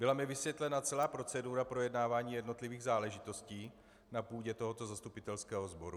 Byla mi vysvětlena celá procedura projednávání jednotlivých záležitostí na půdě tohoto zastupitelského sboru.